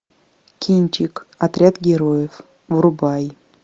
кинчик отряд героев врубай